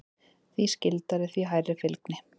Því skyldari, því hærri fylgni.